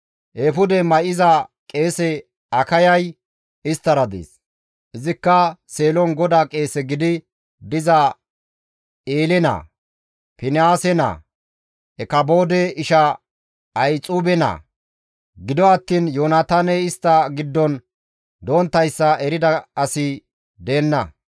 Eefude may7iza qeese Akayay isttara dees; izikka Seelon GODAA qeese gidi diza Eele naa, Finihaase naa, Ikaboode isha Ahixuube naa. Gido attiin Yoonataaney istta giddon donttayssa erida asi deenna.